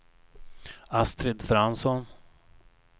Astrid Fransson